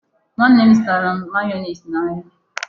Nwanne m zụtara mayonees n'ahịa.